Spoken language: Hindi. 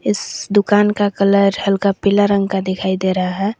इस दुकान का कलर हल्का पीला रंग का दिखाई दे रहा है।